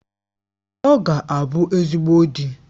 Ọ ga-abụ ezigbo di